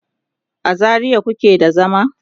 a zaria kuke da zama?